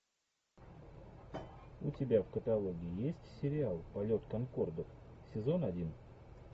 у тебя в каталоге есть сериал полет конкордов сезон один